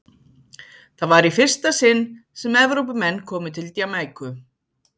Það var í fyrsta sinn sem Evrópumenn komu til Jamaíku.